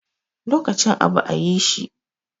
Lokacin abu a yi shi